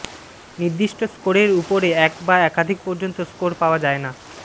নির্দিষ্ট স্কোরের উপরে এক বা একাধিক পর্যন্ত স্কোর পাওয়া যায় না